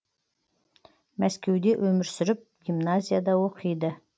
мәскеуде өмір сүріп гимназияда оқиды